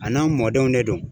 A n'anw mɔdenw de don.